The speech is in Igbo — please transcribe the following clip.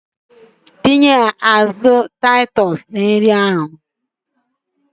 Tinye azụ Titus na nri ahụ!